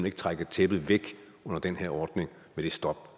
ikke trække tæppet væk under den her ordning med det stop